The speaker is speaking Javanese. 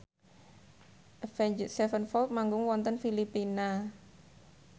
Avenged Sevenfold manggung wonten Filipina